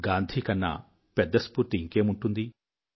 గాంధీ కన్నా పెద్ద స్ఫూర్తి ఇంకేముంటుంది